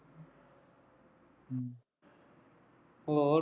ਹੋਰ